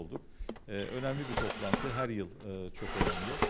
Eee önəmli bir iclas hər il eee çox önəmlidir.